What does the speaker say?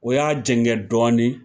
O y'a jɛngɛ dɔɔni